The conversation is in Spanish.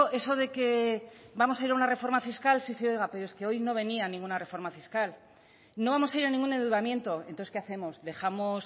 eso de que vamos a ir a una reforma fiscal sí sí oiga pero es que hoy no venía ninguna reforma fiscal no vamos a ir a ningún endeudamiento entonces qué hacemos dejamos